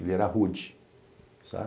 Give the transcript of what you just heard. Ele era rude, sabe?